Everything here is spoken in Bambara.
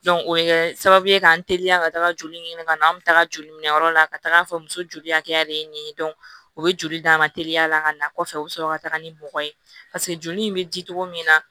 o bɛ kɛ sababu ye k'an teliya ka taga joli ɲini ka na an bɛ taga joli minɛ yɔrɔ la ka taga fɔ muso joli hakɛya de ye nin ye o bɛ joli d'an ma teliya la ka na kɔfɛ u bɛ sɔrɔ ka taga ni mɔgɔ ye joli in bɛ di cogo min na